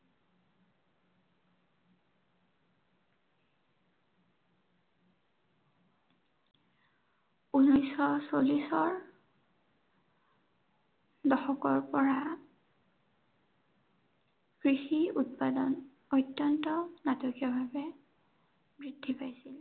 ঊনৈচ শ চল্লিশৰ দশকৰ পৰা কৃষিৰ উৎপাদন, অত্য়ন্ত নাটকীয় ভাৱে বৃদ্ধি পাইছিল।